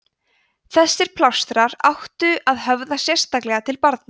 þessir plástrar áttu að höfða sérstaklega til barna